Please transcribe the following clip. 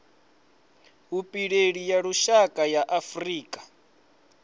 vhupileli ya lushaka ya afurika